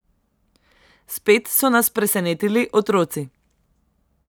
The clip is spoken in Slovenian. Spet so nas presenetili otroci.